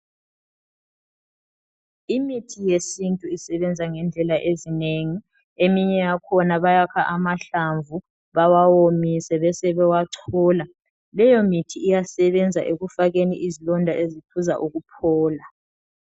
Imithi yesintu isebenza ngendlela ezinengi eminye yakhona bayakha amahlamvu bawawomise besebewachola, leyo mithi iyasebenza ekufakeni izilonda eziphuza ukuphola.